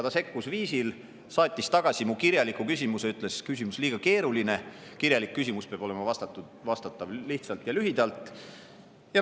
Ta sekkus sel viisil, et saatis tagasi mu kirjaliku küsimuse ja ütles, et küsimus on liiga keeruline, kirjalikule küsimusele peab lihtsalt ja lühidalt vastata.